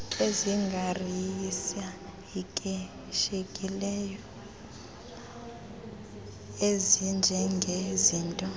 ezingarisay ikilishekiyo ezinjengezinto